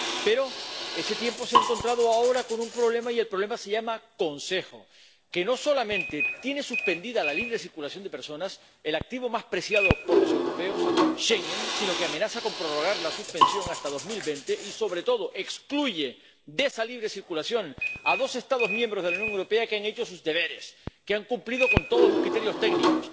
Pero ese tiempo se ha encontrado ahora con un problema. Y el problema se llama Consejo, que no solamente ha suspendido la libre circulación de personas, el activo más preciado por los europeos —Schengen—, sino que amenaza con prorrogar la suspensión hasta 2020 y, sobre todo, excluye de esa libre circulación a dos Estados miembros de la Unión Europea que han hecho sus deberes, que han cumplido con todos los criterios técnicos.